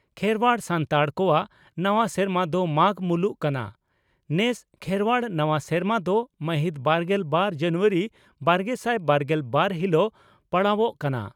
ᱠᱷᱮᱨᱚᱣᱟᱲ (ᱥᱟᱱᱛᱟᱲ) ᱠᱚᱣᱟᱜ ᱱᱟᱣᱟ ᱥᱮᱨᱢᱟ ᱫᱚ ᱢᱟᱜᱽ ᱢᱩᱞᱩᱜ ᱠᱟᱱᱟ, ᱱᱮᱥ ᱠᱷᱮᱨᱣᱟᱲ ᱱᱟᱣᱟ ᱥᱮᱨᱢᱟ ᱫᱚ ᱢᱟᱦᱤᱛ ᱵᱟᱨᱜᱮᱞ ᱵᱟᱨ ᱡᱟᱱᱩᱣᱟᱨᱤ ᱵᱟᱨᱜᱮᱥᱟᱭ ᱵᱟᱨᱜᱮᱞ ᱵᱟᱨ ᱦᱤᱞᱚᱜ ᱯᱟᱲᱟᱣᱚᱜ ᱠᱟᱱᱟ ᱾